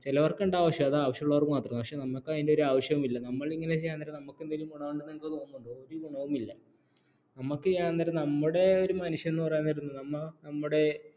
ചിലർക്ക് ഉണ്ടാവും പക്ഷേ അത് ആവശ്യമുള്ളവർക്ക് മാത്രം നമുക്ക് അതിൻറെ ഒരു ആവശ്യവുമില്ല നമുക്കെന്തെങ്കിലും ഗുണം ഉണ്ടാവുമെന്ന് നിങ്ങൾക്ക് തോന്നുന്നുണ്ടോ ഒരു ഗുണവുമില്ല നമുക്ക് നേരം നമ്മുടെ ഒരു മനുഷ്യനെന്ന് പറയുന്നത് നമ്മുടെ